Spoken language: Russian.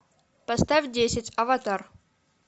поставь десять аватар